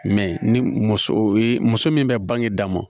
ni muso ye muso min bɛ bange daa mɔ